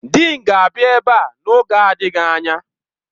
Dịịn ga-abịa ebe a n'oge adịghị anya.